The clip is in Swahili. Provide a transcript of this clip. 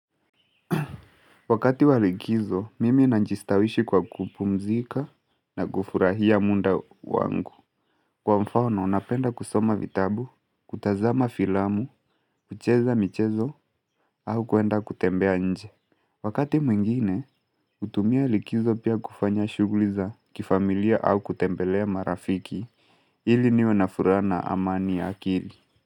Wakati walikizo, mimi najistawishi kwa kupumzika na kufurahia muda wangu. Kwa mfano, napenda kusoma vitabu, kutazama filamu, kucheza michezo, au kwenda kutembea nje. Wakati mwingine, hutumia likizo pia kufanya shuguliza kifamilia au kutembelea marafiki, ili niwe na furaha na amani ya akili.